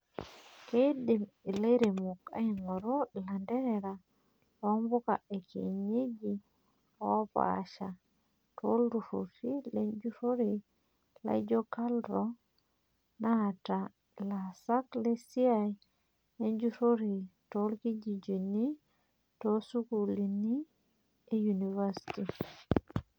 Keidim ilairemok ang'oru ilanterera loo mpuka ekienyeji oopasha toltururi lenjurore laijio KALRO naata ilasak lesiai enjurore torkijijini otoosukulini e universiti.